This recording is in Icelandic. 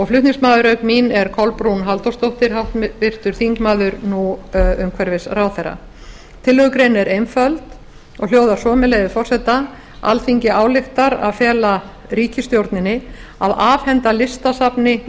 flutningsmaður auk mín er kolbrún halldórsdóttir háttvirtur þingmaður nú umhverfisráðherra tillögugreinin er einföld og hljóðar svo með leyfi forseta alþingi ályktar að fela ríkisstjórninni að afhenda listasafni